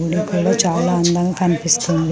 చాలా అందం కనిపిస్తుంది .